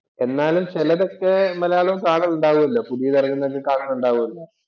എന്നാലും ചിലതൊക്കെ മലയാളം കാണൽ ഉണ്ടാവുമല്ലോ. പുതിയത് ഇറങ്ങുന്നത് ഒക്കെ കാണുന്നുണ്ടാവുമല്ലോ